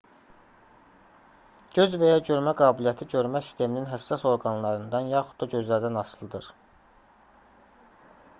göz və ya görmə qabiliyyəti görmə sisteminin həssas orqanlarından yaxud da gözlərdən asılıdır